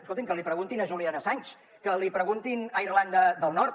escolti’m que l’hi preguntin a julian assange que l’hi preguntin a irlanda del nord